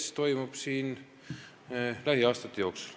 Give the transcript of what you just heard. See toimub lähiaastate jooksul.